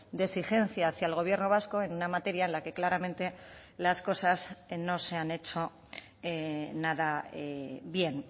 de exigencia hacia el gobierno vasco en una materia en la que claramente las cosas no se han hecho nada bien